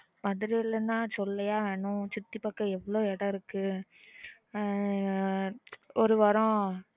madurai லானா சொல்லவா வேணும் சுட்டி பக்க இடம் இருக்கு ஒரு வரம்